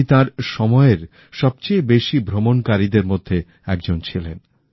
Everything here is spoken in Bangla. উনি তাঁর সময়ের সবচেয়ে বেশি ভ্রমণকারীদের মধ্যে একজন ছিলেন